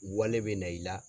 Wale bɛ na i la